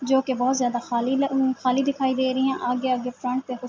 جو کی بھوت جیادہ خالی خالی دکھائی دے رہی ہے۔ آگے-آگے فرنٹ پی--